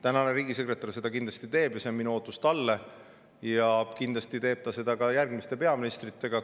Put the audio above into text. Tänane riigisekretär seda kindlasti teeb, see on minu ootus talle, ja kindlasti teeb ta seda ka järgmiste peaministritega.